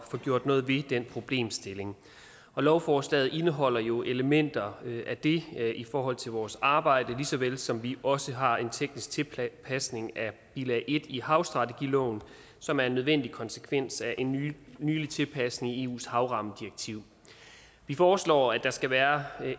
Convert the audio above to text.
få gjort noget ved den problemstilling lovforslaget indeholder jo elementer af det i forhold til vores arbejde lige så vel som vi også har en teknisk tilpasning af bilag en i havstrategiloven som er en nødvendig konsekvens af en nylig nylig tilpasning i eus havrammedirektiv vi foreslår at der skal være